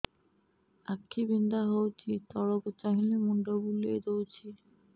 ଆଖି ବିନ୍ଧା ହଉଚି ତଳକୁ ଚାହିଁଲେ ମୁଣ୍ଡ ବୁଲେଇ ଦଉଛି